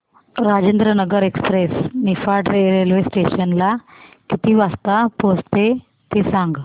Rajendranagar express Niphad railway station ला किती वाजता पोहचते ते सांग